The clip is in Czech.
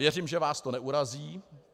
Věřím, že vás to neurazí.